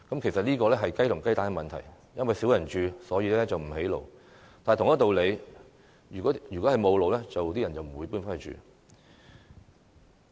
其實，這是雞與雞蛋的問題，因為少人居住便不興建道路，但同一道理，因為沒有道路，所以才少人回去居住。